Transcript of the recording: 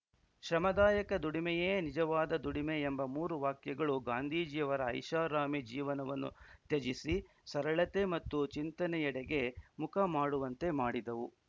ಶ್ರಮದಾಯಕ ದುಡಿಮೆಯೇ ನಿಜವಾದ ದುಡಿಮೆ ಎಂಬ ಮೂರು ವಾಕ್ಯಗಳು ಗಾಂಧೀಜಿಯವರ ಐಷಾರಾಮಿ ಜೀವನವನ್ನು ತ್ಯಜಿಸಿ ಸರಳತೆ ಮತ್ತು ಚಿಂತನೆಯಡೆಗೆ ಮುಖ ಮಾಡುವಂತೆ ಮಾಡಿದವು